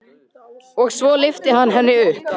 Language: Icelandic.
Og svo lyfti hann henni upp.